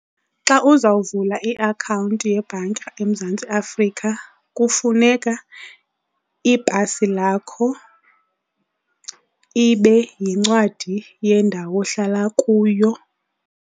Xa uzawuvula iakhawunti yebhanka eMzantsi Afrika kufuneka ipasi lakho, ibe yincwadi yendawo ohlala kuyo.